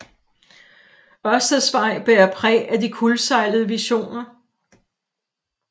Ørsteds Vej bærer præg af de kuldsejlede visioner